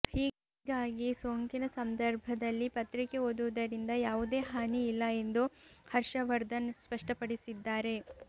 ಹೀಗಾಗಿ ಸೋಂಕಿನ ಸಂದರ್ಭದಲ್ಲಿ ಪತ್ರಿಕೆ ಓದುವುದರಿಂದ ಯಾವುದೇ ಹಾನಿ ಇಲ್ಲ ಎಂದು ಹರ್ಷವರ್ಧನ್ ಸ್ಪಷ್ಟಪಡಿಸಿದ್ದಾರೆ